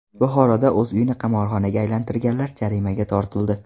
Buxoroda o‘z uyini qimorxonaga aylantirganlar jarimaga tortildi.